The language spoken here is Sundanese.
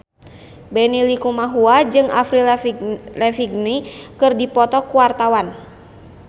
Benny Likumahua jeung Avril Lavigne keur dipoto ku wartawan